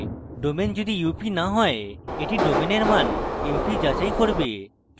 domain যদি up না হয় এটি domain এর মান mp যাচাই করে